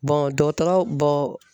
dɔgɔtɔrɔ